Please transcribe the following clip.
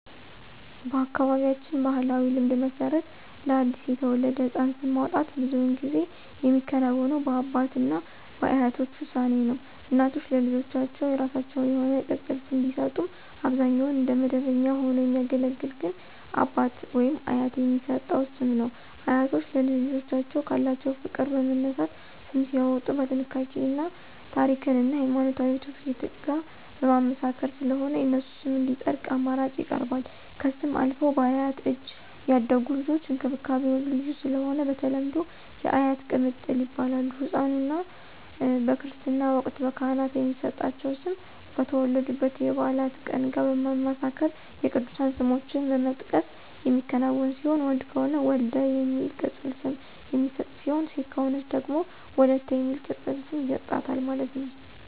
በአካባቢያችን ባሕላዊ ልማድ መሰረት ለአዲስ የተወለደ ሕፃን ስም ማውጣት ብዙውን ጊዜ የሚከናወነው በአባት እና በአያቶች ውሳኔ ነው። እናቶች ለልጆቻቸው የራሳቸው የሆነ ቅፅል ስም ቢሰጡም አብዛኛውን እንደ መደበኛ ሆኖ የሚያገለግል ግን አባት/አያት የሚሰጠው ስም ነው። አያቶች ለልጅ ልጆቻቸው ካላቸው ፍቅር በመነሳት ስም ሲያዎጡ በጥንቃቄ እና ታሪክን እና ሀይማኖታዊ ትውፊት ጋር በማመሳከር ስለሆነ የነሱ ስም እንዲፀድቅ አማራጭ ይቀርባል። ከስም አልፈው በአያት እጅ ያደጉ ልጆች እንክብካቤው ልዩ ስለሆነ በተለምዶ *የአያት ቅምጥል ይባላሉ*።ህፃኑ/ኗ በክርስትና ወቅት በካህናት የሚሰጣቸው ስም ከተወለዱበት የበዓላት ቀን ጋር በማመሳከር የቅዱሳን ስሞችን በመጥቀስ የሚከናወን ሲሆን ወንድ ከሆነ *ወልደ* የሚል ቅፅል ስም የሚሰጥ ሲሆን ሴት ከሆነች ደግሞ *ወለተ*የሚል ቅፅል ስም ይሰጣታል ማለት ነው